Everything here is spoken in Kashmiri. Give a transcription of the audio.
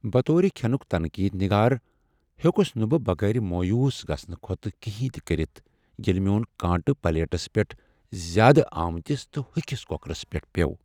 بطور كھینٗك تنقید نِگار ، ہیوٚکس نہٕ بہٕ بغٲر مویوٗس گژھنہٕ كھوتہٕ كینہہ تہِ كرِتھ ییٚلہ میٛون کانٛٹہٕ پلیٹس پٹھ زیادٕ آمتس تہٕ ہوٚکھس کۄکرس پٮ۪ٹھ پیوٚو۔